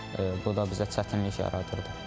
Bu da bizə çətinlik yaradırdı.